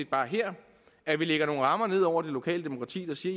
bare her at vi lægger nogle rammer ned over det lokale demokrati der siger